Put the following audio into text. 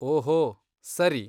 ಓಹೋ, ಸರಿ.